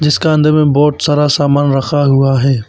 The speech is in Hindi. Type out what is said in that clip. इसका अंदर में बहोत सारा सामान रखा हुआ है।